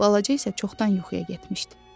Balaca isə çoxdan yuxuya getmişdi.